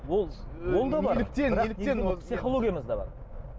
ол ол да бар неліктен неліктен психологиямызда бар